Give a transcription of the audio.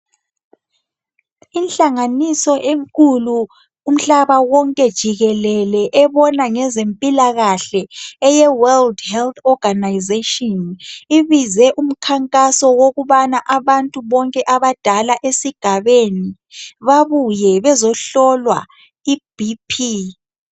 Inhlanganiso enkulu umhlaba wonke jikelele ebona ngezempilakahle eyeWorld Health Organisation ibize umkhankaso wokubana abantu bonke abadala esigabeni babuye bezohlolwa iBP.